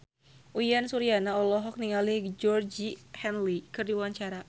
Uyan Suryana olohok ningali Georgie Henley keur diwawancara